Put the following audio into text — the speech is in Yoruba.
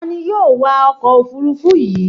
Ta ni yóò wa ọkọ̀ òfurufú yìí